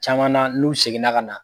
Caman na n'u seginna ka na